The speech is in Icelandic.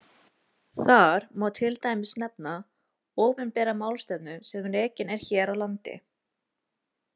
Þar má til dæmis nefna opinbera málstefnu sem rekin er hér á landi.